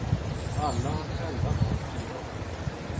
Alla har själva valt sin roll.